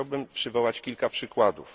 Chciałbym przywołać kilka przykładów.